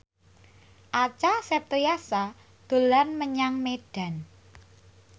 Acha Septriasa dolan menyang Medan